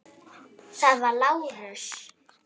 Það var Lárus.